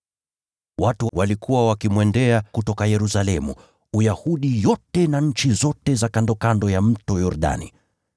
Watu walikuwa wakimwendea kutoka Yerusalemu, Uyahudi yote na nchi zote za kandokando ya Mto Yordani.